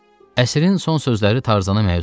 Əsrin son sözləri Tarzanı məyus etdi.